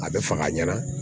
A bɛ fɔ ka ɲɛna